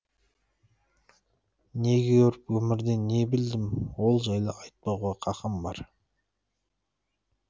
не көріп өмірден не білдім ол жайлы айтпауға қақым бар